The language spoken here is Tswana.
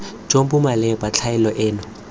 jo bo maleba tlhaelo eno